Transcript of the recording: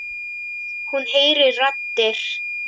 Hún heyrir raddir.